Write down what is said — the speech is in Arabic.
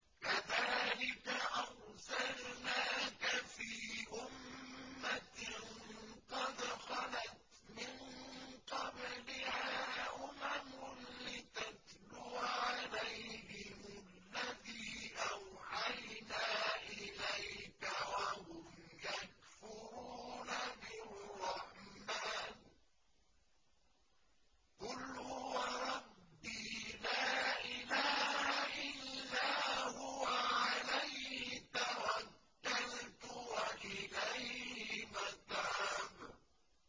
كَذَٰلِكَ أَرْسَلْنَاكَ فِي أُمَّةٍ قَدْ خَلَتْ مِن قَبْلِهَا أُمَمٌ لِّتَتْلُوَ عَلَيْهِمُ الَّذِي أَوْحَيْنَا إِلَيْكَ وَهُمْ يَكْفُرُونَ بِالرَّحْمَٰنِ ۚ قُلْ هُوَ رَبِّي لَا إِلَٰهَ إِلَّا هُوَ عَلَيْهِ تَوَكَّلْتُ وَإِلَيْهِ مَتَابِ